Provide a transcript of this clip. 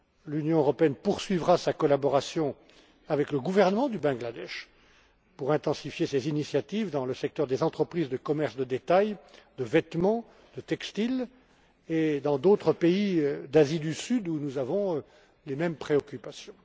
L'Union européenne poursuivra sa collaboration avec le gouvernement du Bangladesh, pour intensifier ses initiatives dans le secteur des entreprises de commerce de détail, de vêtements, de textiles, comme dans d'autres pays d'Asie du Sud, qui suscitent les mêmes préoccupations.